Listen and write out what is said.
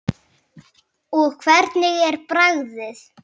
Og hvernig er bragðið?